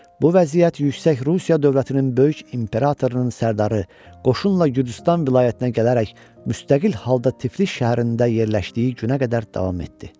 Bu vəziyyət yüksək Rusiya dövlətinin böyük imperatorunun sərdarı qoşunla Gürcüstan vilayətinə gələrək müstəqil halda Tiflis şəhərində yerləşdiyi günə qədər davam etdi.